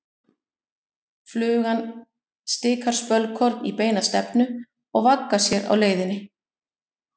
Flugan stikar spölkorn í beina stefnu og vaggar sér á leiðinni.